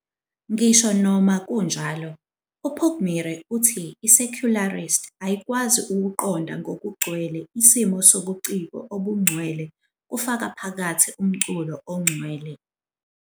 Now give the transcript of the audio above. "Ngisho noma kunjalo, uPugmire uthi i-secularist ayikwazi ukuqonda ngokugcwele isimo sobuciko obungcwele kufaka phakathi umculo ongcwele."